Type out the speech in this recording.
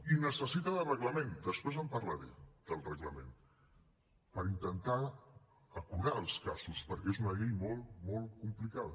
i necessita de reglament després en parlaré del reglament per intentar acurar els casos perquè és una llei molt molt complicada